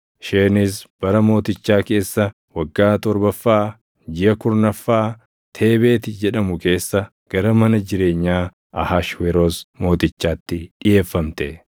Isheenis bara mootichaa keessa waggaa torbaffaa jiʼa kurnaffaa Teebeeti jedhamu keessa gara mana jireenyaa Ahashweroos Mootichaatti dhiʼeeffamte.